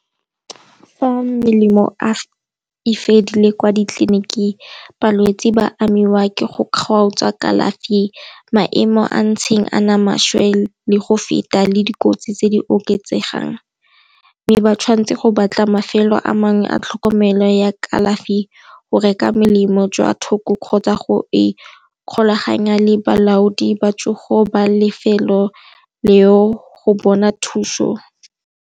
Fa melemo e fedile kwa ditleliniking balwetse ba amiwa ke go kgaotsa kalafi, maemo a ntseng a nna maswe le go feta le dikotsi tse di oketsegang. Mme ba tshwanetse go batla mafelo a mangwe a tlhokomelo ya kalafi, go reka melemo jwa thoko kgotsa go ikgolaganya le balaodi ba tsogo ba lefelo leo go bona thuso.